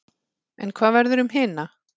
En hvað verður um hina?